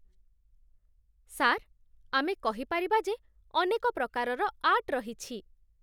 sir, ଆମେ କହିପାରିବା ଯେ ଅନେକ ପ୍ରକାରର ଆର୍ଟ ରହିଛି